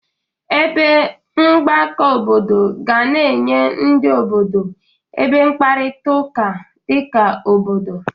Ebe mgbakọ obodo ga na-enye ndị obodo ebe mkparịtaụka dị ka obodo.